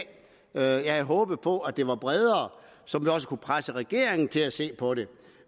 jeg havde håbet på at opbakningen var bredere så vi også kunne presse regeringen til at se på det